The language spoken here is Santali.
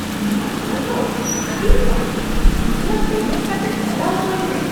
ᱱᱚᱶᱟ ᱥᱚ ᱫᱚ ᱟᱹᱰᱤ ᱵᱟᱹᱲᱤᱡ ᱾ ᱩᱥᱟᱹᱨᱟ ᱯᱮᱢᱮᱱᱴ ᱠᱟᱛᱮᱫ ᱪᱟᱞᱟᱣ ᱚᱪᱚᱣᱟᱹᱧ ᱢᱮ ᱾